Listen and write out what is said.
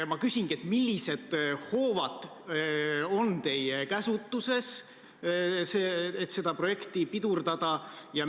Ma küsingi, millised hoovad on teie käsutuses, et seda projekti pidurdada.